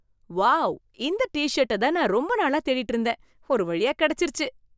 Wow! இந்த டி-ஷெட்ட தான் நான் ரொம்ப நாளா தேடிட்டு இருந்தேன். ஒருவழியா கெடச்சிருச்சு.